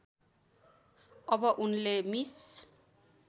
अब उनले मिस